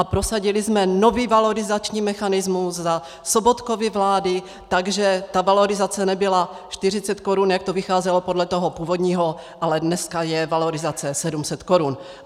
A prosadili jsme nový valorizační mechanismus za Sobotkovy vlády, takže ta valorizace nebyla 40 korun, jak to vycházelo podle toho původního, ale dneska je valorizace 700 korun.